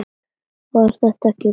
Var þetta ekki gaman?